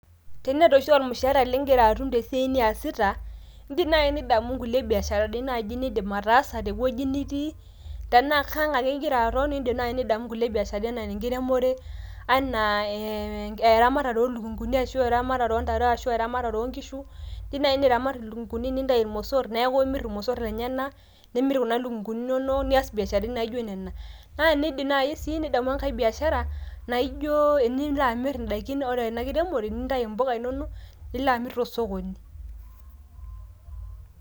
Teneeta oshi ormushaara lingira atum tesiai niasita ,indim naji nidamu nkulie biasharani nindim ataasa tewueji nitii ,tenaa kang ake ingira aton nidim naji nidamu nkulie biasharani kulie anaa enkiremore ,anaa eeh eramatare oolukunguni arashu eramatare arashu eramatare oonkishu ,indim naji niramat ilukunguni nintayu irmosot neaku imir irmosot lenyenak ,nimirr kuna lukunguni inonok niasi biasharani naijo nena ,naa ninidip nai sii nidamu enkae biashara enilo amir indaikin ore ena kiremore nintayu mpuka inonok nilo amir tosokoni.